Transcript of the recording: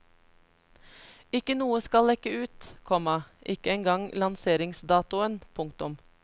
Ikke noe skal lekke ut, komma ikke engang lanseringsdatoen. punktum